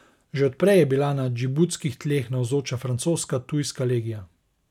Že od prej je bila na džibutskih tleh navzoča francoska tujska legija.